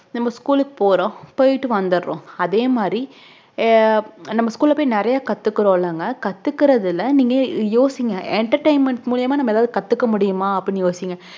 நம்ம school க்கு போறோம் போய்ட்டுவந்தோரம் அதே மாதிரி அஹ் நம்ம school ல பொய் நெறைய கத்துகுரோங்கம்ம கத்துகுரதுல நீங்க யோசிங்க entertainment மூலியமாநம்ம எதாவது கத்துக்க முடிமா அப்டின்னு யோசிங்க